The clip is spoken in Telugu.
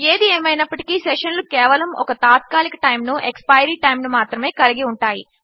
ఏది ఏమైనప్పటికీ సెషన్లు కేవలము ఒక తాత్కాలిక టైమ్ ను -ఎస్క్పైరీ టైమ్ ను మాత్రమే కలిగి ఉంటాయి